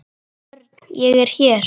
Örn, ég er hér